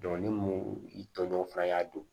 ni mun i tɔɲɔgɔn fana y'a dɔn